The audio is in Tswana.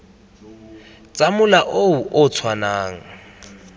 tsa mola o o tshwanang